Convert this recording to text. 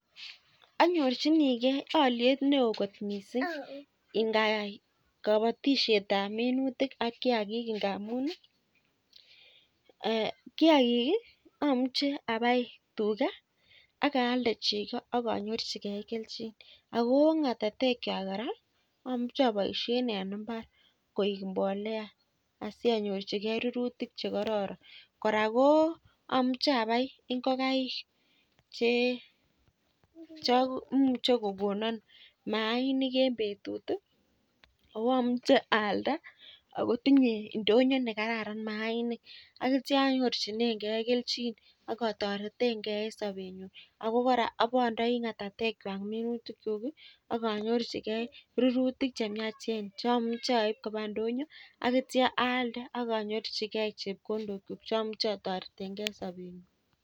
Anyorchinigei oliet neo kot mising ng'ayai kobotishetab minutik ak kiagik. Ngamun kiagik amuche abai teta ak alde cheko ak anyorchigei kelchin ako ng'atatekwai kora amuche aboishe en mbar koek mbolea. Asianyorchigei rurutik che kororon. Kora ko amuche abai ngokaik che muchei kokono maainik eng betut ako amuche aalda akotinyei ndonyo ne kararan maainik. Aneitia anyorchinegei kelchin ak atoretengei eng sobenyu. Ako kora abandei ng'atatekwai minutikchuk ak anyorchinegei rurutik che miachen cha muchei aip koba ndoyo ak ipaalde aka anyorchigei chepkondokchuk ak atoretegei eng sobenyu.